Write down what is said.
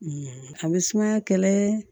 a bɛ sumaya kɛlɛ